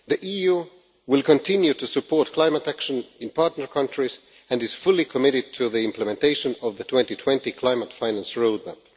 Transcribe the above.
The EU will continue to support climate action in partner countries and is fully committed to the implementation of the 2020 climate finance roadmap.